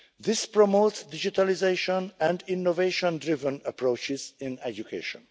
This promotes digitalisation and innovation driven approaches in education.